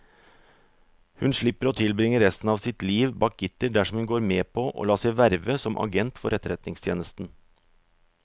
Hun slipper å tilbringe resten av sitt liv bak gitter dersom hun går med på å la seg verve som agent for etterretningstjenesten.